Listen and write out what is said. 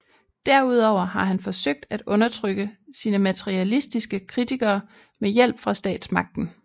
Derudover har han forsøgt at undertrykke sine materialistiske kritikere med hjælp fra statsmagten